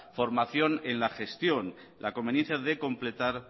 formación en la gestión la conveniencia de completar